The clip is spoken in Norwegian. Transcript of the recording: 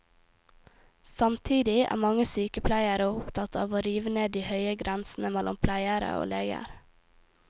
Samtidig er mange sykepleiere opptatt av å rive ned de høye grensene mellom pleiere og leger.